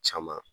Caman